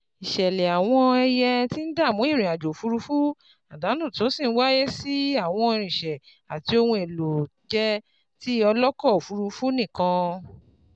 Isele àwọn ẹyẹ tí ń dààmú irin ajo òfurufú, àdánù tó sì ń wáyé sì àwọn irinse àti ohun èlò je ti oloko òfuurufú nikan.